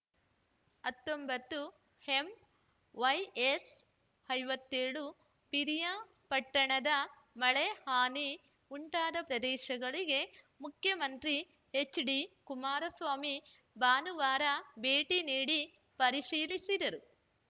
ಹತ್ತೊಂಬತ್ತು ಎಂವೈಎಸ್‌ ಐವತ್ಯೋಳು ಪಿರಿಯಾಪಟ್ಟಣದ ಮಳೆ ಹಾನಿ ಉಂಟಾದ ಪ್ರದೇಶಗಳಿಗೆ ಮುಖ್ಯಮಂತ್ರಿ ಎಚ್‌ಡಿ ಕುಮಾರಸ್ವಾಮಿ ಭಾನುವಾರ ಭೇಟಿ ನೀಡಿ ಪರಿಶೀಲಿಸಿದರು